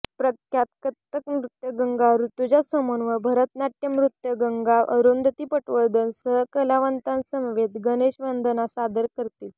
प्रख्यात कथ्थक नृत्यांगना ऋजुता सोमण व भरतनाट्यम् नृत्यांगना अरुंधती पटवर्धन सहकलावंतांसमवेत गणेशवंदना सादर करतील